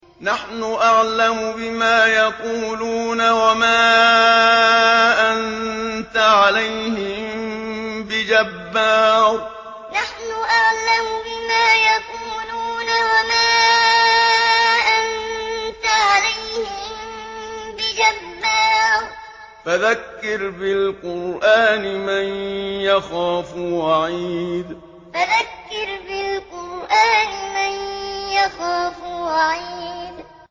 نَّحْنُ أَعْلَمُ بِمَا يَقُولُونَ ۖ وَمَا أَنتَ عَلَيْهِم بِجَبَّارٍ ۖ فَذَكِّرْ بِالْقُرْآنِ مَن يَخَافُ وَعِيدِ نَّحْنُ أَعْلَمُ بِمَا يَقُولُونَ ۖ وَمَا أَنتَ عَلَيْهِم بِجَبَّارٍ ۖ فَذَكِّرْ بِالْقُرْآنِ مَن يَخَافُ وَعِيدِ